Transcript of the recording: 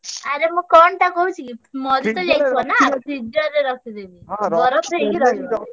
ଆରେ ମୁଁ କଣଟା କହୁଛିକି ମରିତ freezer ରେ ରଖିଦେବି। ବରଫ ହେଇକି ରହିବ।